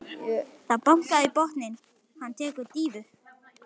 Það er bankað í botninn, hann tekur dýfu.